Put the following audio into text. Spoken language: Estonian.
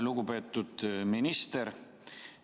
Lugupeetud minister!